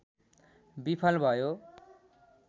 विफल भयो